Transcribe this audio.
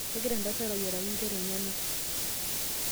Kengira entasat ayiaraki nkera enyana.